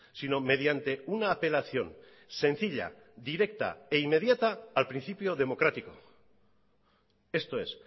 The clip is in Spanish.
sino mediante una apelación sencilla directa e inmediata al principio democrático esto es